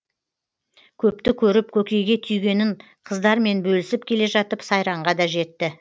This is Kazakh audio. көпті көріп көкейге түйгенін қыздармен бөлісіп келе жатып сайранға да жетті